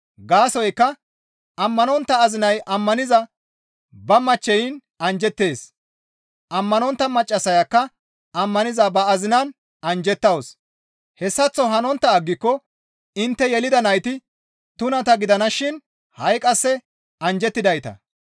Gaasoykka ammanontta azinay ammaniza ba machcheyin anjjettees; ammanontta maccassayakka ammaniza ba azinaan anjjettawus; hessaththo hanontta aggiko intte yelida nayti tunata gidanashin ha7i qasse anjjettidayta.